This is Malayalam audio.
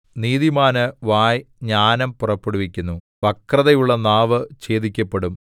നീതിമാന്റെ വായ് ജ്ഞാനം പുറപ്പെടുവിക്കുന്നു വക്രതയുള്ള നാവ് ഛേദിക്കപ്പെടും